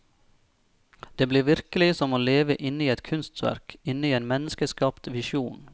Det blir virkelig som å leve inne i et kunstverk, inne i en menneskeskapt visjon.